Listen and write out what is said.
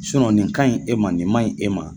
nin ka ɲi e ma nin man ɲi e ma.